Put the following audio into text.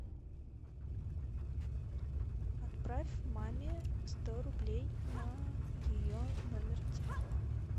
отправь маме сто рублей на ее номер телефона